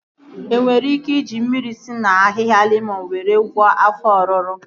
E nwere ike iji mmiri si na ahịhịa lemọn were gwọọ afọ ọruru